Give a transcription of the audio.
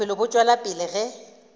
bophelo bo tšwela pele ge